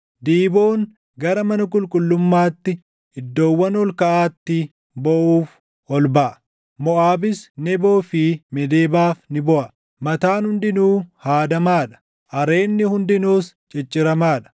Diiboon gara mana qulqullummaatti, iddoowwan ol kaʼaatti booʼuuf ol baʼa; Moʼaabis Neboo fi Meedebaaf ni booʼa. Mataan hundinuu haadamaa dha; areedni hundinuus cicciramaa dha.